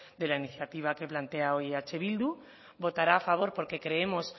de la iniciativa que plantea hoy eh bildu votará a favor porque creemos